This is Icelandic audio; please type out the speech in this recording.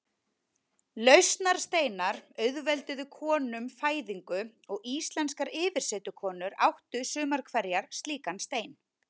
Lausnarsteinar auðvelduðu konum fæðingu og íslenskar yfirsetukonur áttu sumar hverjar slíkan stein.